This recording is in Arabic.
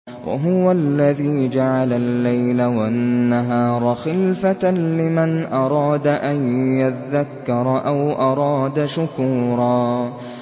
وَهُوَ الَّذِي جَعَلَ اللَّيْلَ وَالنَّهَارَ خِلْفَةً لِّمَنْ أَرَادَ أَن يَذَّكَّرَ أَوْ أَرَادَ شُكُورًا